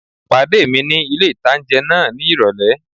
Pàdé mi ní ilé-ìtánjẹ náà ní ìrọ̀lẹ́